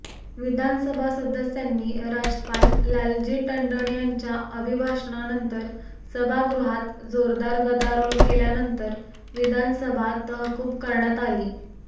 विधानसभा सदस्यांनी राज्यपाल लालजी टंडन यांच्या अभिभाषणानंतर सभागृहात जोरदार गदारोळ केल्यानंतर विधानसभा तहकूब करण्यात आली